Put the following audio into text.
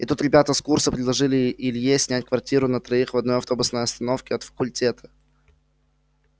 и тут ребята с курса предложили илье снять квартиру на троих в одной автобусной остановке от факультета